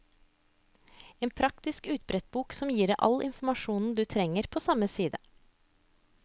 En praktisk utbrettsbok som gir deg all informasjon du trenger på samme side.